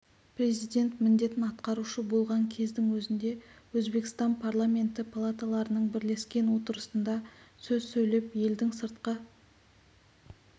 президент міндетін атқарушы болған кездің өзінде өзбекстан парламенті палаталарының бірлескен отырысында сөз сөйлеп елдің сыртқы